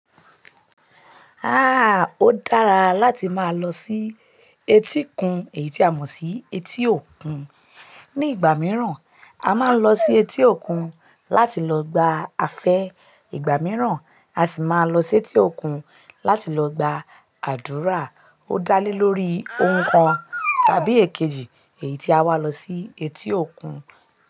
Ah! Ó dára láti máa lọ sí etíkun, èyí tí a mọ̀ sí etí òkun. Ni ìgbà mìíràn, a máa ń lọ sí etí òkun láti lọ gba afẹ́. Ìgbà mìíràn, a sì máa lọ sí etí òkun láti lọ gba àdúrà. Ó dálé lórí ohun kan tàbí èkejì èyí tí a wá lọ sí etí òkun.